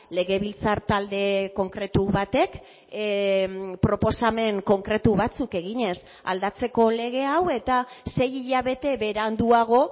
legebiltzar talde konkretu batek proposamen konkretu batzuk eginez aldatzeko lege hau eta sei hilabete beranduago